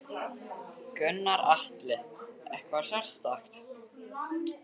Gunnar Atli: Eitthvað sérstakt?